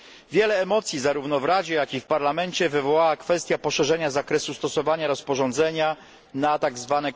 sukces. Wiele emocji zarówno w Radzie, jak i w Parlamencie wywołała kwestia poszerzenia zakresu stosowania rozporządzenia